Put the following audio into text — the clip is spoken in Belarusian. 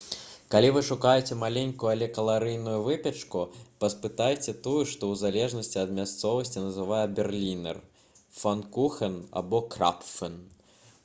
калі вы шукаеце маленькую але каларыйную выпечку паспытайце тую што ў залежнасці ад мясцовасці называецца берлінер пфанкухен або крапфен